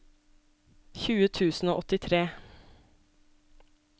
tjue tusen og åttitre